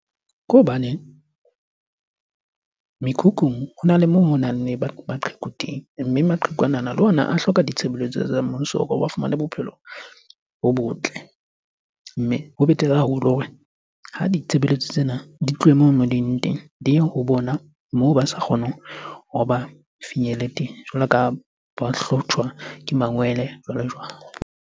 Ke hobane mekhukhung hona le moo honang le baqheku teng, mme maqheku anana le ona a hloka ditshebeletso tsa mmuso hore ba fumane bophelo bo botle. Mme ho betere haholo hore ha ditshebeletso tsena di tlohe moo mo di leng teng, di ye ho bona moo ba sa kgoneng hore ba finyelle teng jwalo ka ha ba hlotjwa ke mangwele jwalo-jwalo.